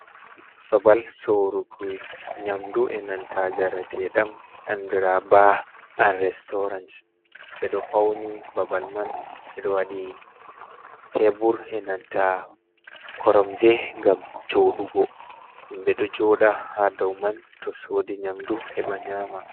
Babal soruki nyamdu e nanta jarateɗam andira ɓe nanta Ba an restorant, ɓeɗo fauni babal man, ɓeɗo wadi tebur e nanta koromje gam joɗugo, himbe ɗo joda ha dauman to sodi nyamdu heba nyama.